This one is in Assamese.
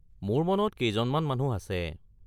মোৰ মনত কেইজনমান মানুহ আছে।